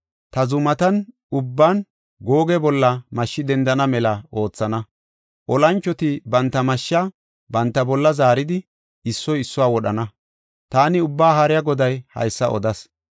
Ta zumatan ubban Googe bolla mashshi dendana mela oothana; olanchoti banta mashsha banta bolla zaaridi, issoy issuwa wodhana. Taani Ubbaa Haariya Goday haysa odas.